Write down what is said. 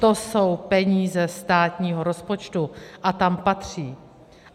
To jsou peníze státního rozpočtu a tam patří.